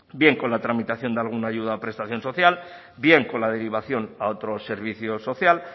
bien con la tramitación de alguna ayuda o prestación social bien con la derivación a otros servicio social